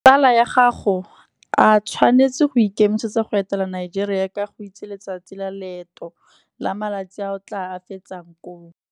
Tsala ya gago a tshwanetse go ikemisetsa go etela Nigeria ka go itse letsatsi la leeto, la malatsi a o tla a fetsang koo.